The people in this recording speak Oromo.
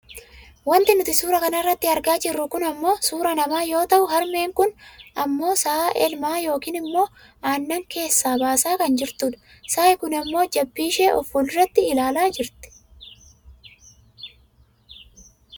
Wanti nuti suuraa kanarratti argaa jirru kun ammoo suuraa nama yoo ta'u harmeen kun ammoo sa'a elmaa yookaan ammoo aanan keessaa baasaa kan jirtudha. Sa'i kun ammoo jabbiishee of fuulduratti ilaalaa jirti.